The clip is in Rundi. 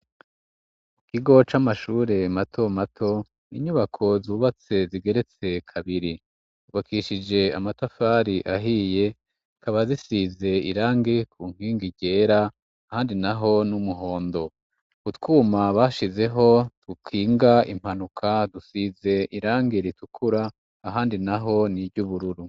Ikigo c'amashure matomato, inyubako zubatse zigeretse kabiri zubakishije amatafari ahiye, zikaba zisize irangi ku nkingi ryera, ahandi naho n'umuhondo. Utwuma bashizeho dukinga impanuka dusize irangi ritukura ahandi naho ni iry'ubururu.